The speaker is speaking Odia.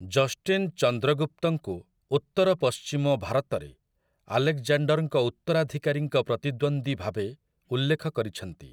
ଜଷ୍ଟିନ୍ ଚନ୍ଦ୍ରଗୁପ୍ତଙ୍କୁ ଉତ୍ତରପଶ୍ଚିମ ଭାରତରେ ଆଲେକ୍‌ଜାଣ୍ଡର୍‌ଙ୍କ ଉତ୍ତରାଧିକାରୀଙ୍କ ପ୍ରତିଦ୍ୱନ୍ଦ୍ୱୀ ଭାବେ ଉଲ୍ଲେଖ କରିଛନ୍ତି ।